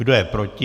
Kdo je proti?